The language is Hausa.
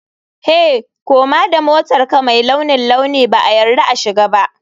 Hey! Koma da motarka mai launin launi ba a yarda a shiga ba.